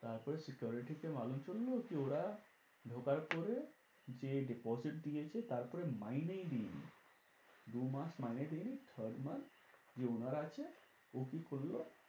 তারপরে security কে করলো কি ওরা ঢোকার পরে যে deposit দিয়েছে তারপরে মাইনেই দেয়নি দু মাস মাইনে দেয়নি third month যে owner আছে ও কি করলো